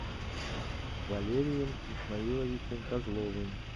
валерием исмаиловичем козловым